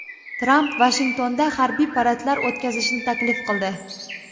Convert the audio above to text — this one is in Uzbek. Tramp Vashingtonda harbiy paradlar o‘tkazishni taklif qildi.